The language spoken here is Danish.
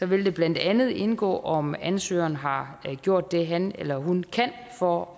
vil det blandt andet indgå om ansøgeren har gjort det han eller hun kan for